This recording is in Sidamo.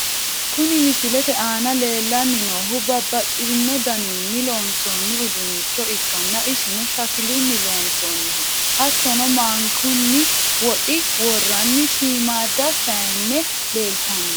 Kuni misilete aana lellanni noohu babbaxino daninni loonsoonni uduunnicho ikkanna, isino shakilunni loonsoonniho, hattono maankunna woxi worranni shiimmaadda sayiine leeltanno.